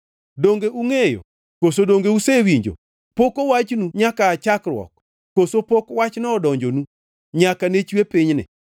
Donge ungʼeyo Koso donge usewinjo? Pok owachnu nyaka aa chakruok? Koso pok wachno odonjonu nyaka ne chwe pinyni.